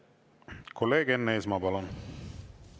Kolleeg Enn Eesmaa, palun!